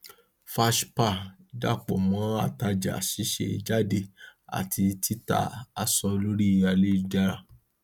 fashpa dá pọ mọ àtajà ṣíṣe jáde àti tita aṣọ lórí ayélujára